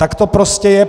Tak to prostě je.